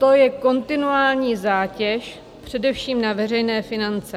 To je kontinuální zátěž především na veřejné finance.